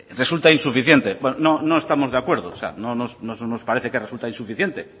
resulta insuficiente no estamos de acuerdo no nos parece que resulta insuficiente